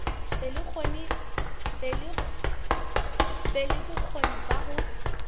be le bokgoni ba ho